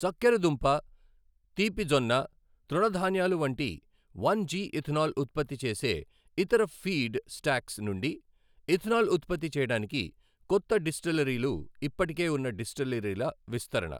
చక్కెర దుంప, తీపి జొన్న, తృణధాన్యాలు వంటి వన్ జి ఇథనాల్ ఉత్పత్తి చేసే ఇతర ఫీడ్ స్టాక్స్ నుండి ఇథనాల్ ఉత్పత్తి చేయడానికి కొత్త డిస్టిలరీలు ఇప్పటికే ఉన్న డిస్టిలరీల విస్తరణ.